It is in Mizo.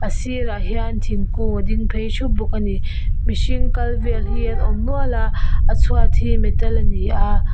a sir ah hian thingkung a ding phei thup bawk ani mihring kal vel hi an awm nual a a chhuat hi metal ani a.